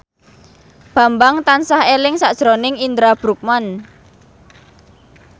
Bambang tansah eling sakjroning Indra Bruggman